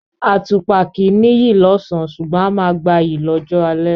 Àtùpà kìí ní’yì lọ́ọ̀sán, ṣugbọ̀n a máa gba’yì lọ́jọ́ alẹ́